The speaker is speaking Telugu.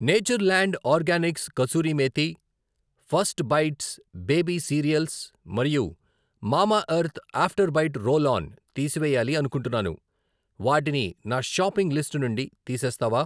Nature land organics kasuri methi, first bites baby cereals మరియు Mamaearth after bite roll on తీసివేయాలి అనుకుంటున్నాను, వాటిని నా షాపింగ్ లిస్ట్ నుండి తీసేస్తావా?